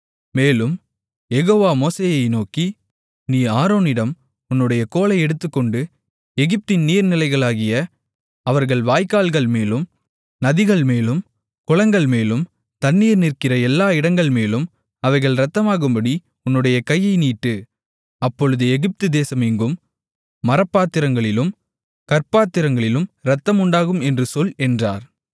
மேலும் யெகோவா மோசேயை நோக்கி நீ ஆரோனிடம் உன்னுடைய கோலை எடுத்துக்கொண்டு எகிப்தின் நீர்நிலைகளாகிய அவர்கள் வாய்க்கால்கள்மேலும் நதிகள்மேலும் குளங்கள்மேலும் தண்ணீர் நிற்கிற எல்லா இடங்கள்மேலும் அவைகள் இரத்தமாகும்படி உன்னுடைய கையை நீட்டு அப்பொழுது எகிப்து தேசம் எங்கும் மரப்பாத்திரங்களிலும் கற்பாத்திரங்களிலும் இரத்தம் உண்டாகும் என்று சொல் என்றார்